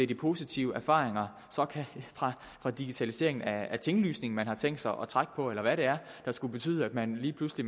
de positive erfaringer fra digitaliseringen af tinglysningen man har tænkt sig at trække på eller hvad det er der skulle betyde at man lige pludselig